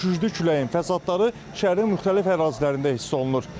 Güclü küləyin fəsadları şəhərin müxtəlif ərazilərində hiss olunur.